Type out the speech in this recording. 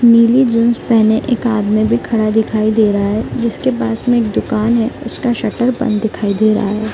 नीली जींस पहने एक आदमी भी खड़ा दिखाई दे रहा है जिसके पास में एक दुकान है उसका शटर बंद दिखाई दे रहा है।